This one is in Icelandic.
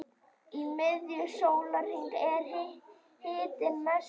í miðju sólarinnar er hitinn mestur